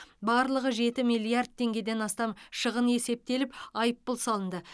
барлығы жеті миллиард теңгеден астам шығын есептеліп айыппұл салынды